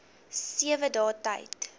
sewe dae tyd